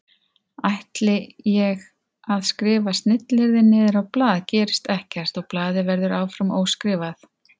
Ætli ég að skrifa snilliyrðin niður á blað gerist ekkert og blaðið verður áfram óskrifað.